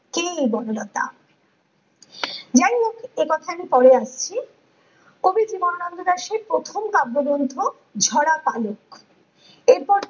কে এই বনলতা? যাই হোক একথায় আমি পরে আসছি । কবি জীবনানন্দ দাশের প্রথম কাব্যগ্রন্থ ঝরা পালক ।এর পর